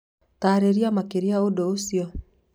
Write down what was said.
Taarĩria makĩria ũndũ ũcio